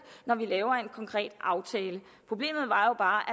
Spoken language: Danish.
når vi laver en konkret aftale problemet var jo bare